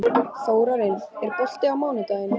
Þórarinn, er bolti á mánudaginn?